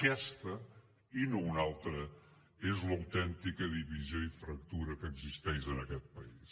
aquesta i no una altra és l’autèntica divisió i fractura que existeix en aquest país